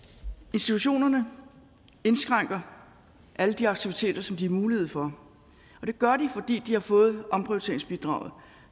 institutionerne indskrænker alle de aktiviteter som de har mulighed for og det gør de fordi de har fået omprioriteringsbidraget